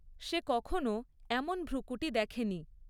সে কখনও এমন ভ্রূকূটি দেখেনি।